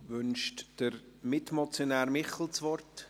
Wünscht Mitmotionär Michel das Wort?